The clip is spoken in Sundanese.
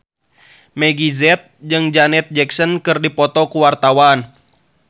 Meggie Z jeung Janet Jackson keur dipoto ku wartawan